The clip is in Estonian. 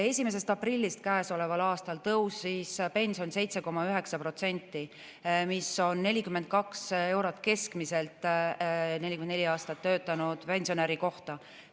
Käesoleva aasta 1. aprillist tõusis pension 7,9% – see on keskmiselt 42 eurot 44 aastat töötanud pensionäri kohta.